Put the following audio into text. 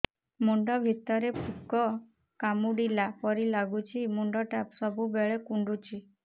ମୁଣ୍ଡ ଭିତରେ ପୁକ କାମୁଡ଼ିଲା ପରି ଲାଗୁଛି ମୁଣ୍ଡ ଟା ସବୁବେଳେ କୁଣ୍ଡୁଚି